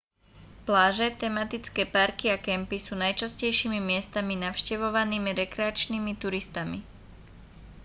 pláže tematické parky a kempy sú najčastejšími miestami navštevovanými rekreačnými turistami